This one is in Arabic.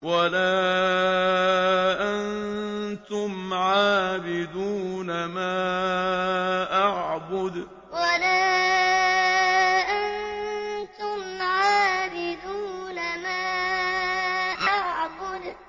وَلَا أَنتُمْ عَابِدُونَ مَا أَعْبُدُ وَلَا أَنتُمْ عَابِدُونَ مَا أَعْبُدُ